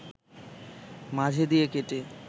মাঝে দিয়ে কেটে